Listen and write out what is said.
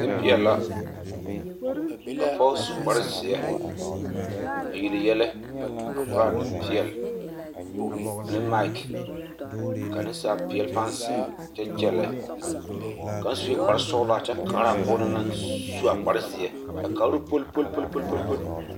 Nempeɛle la, ka pɔge su kpare zeɛ a yele yɛlɛ a koraa nempeɛle ane maki ka nasapeɛle pãã zeŋ kyɛ kyɛllɛ, kaŋ sue kpare sɔgelaa kyɛ kaara a pɔge na naŋ su a kpare zeɛ a kaaroo poli poli poli poli.